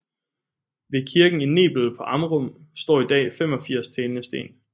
Ved kirken i Nebel på Amrum står i dag 85 talende sten